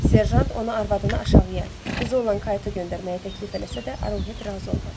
Serjant ona arvadını aşağıya, qızı olan qayta göndərməyi təklif eləsə də, Arohet razı olmadı.